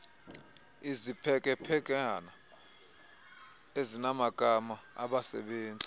iziphekephekana ezinamagama abasebezi